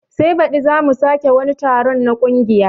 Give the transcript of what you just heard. Sai baɗi zamu sake wani taron na kungiya